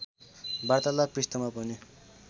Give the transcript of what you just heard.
वार्तालाव पृष्ठमा पनि